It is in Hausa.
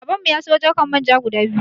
Babanmu ya sayo jarkan Manja guda biyu.